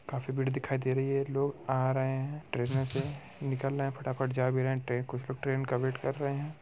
काफी भीड़ दिखाई दे रही है लोग आ रहे हैं ट्रेनों से निकल रहे फटा-फट जा भी रहे हैं ट्रे कुछ लोग ट्रेन का वेट कर रहे हैं।